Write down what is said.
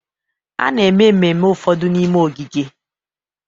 A na-eme ememme ụfọdụ n'ime ogige